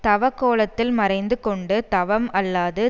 தவக்கோலத்தில் ம றைந்து கொண்டு தவம் அல்லாது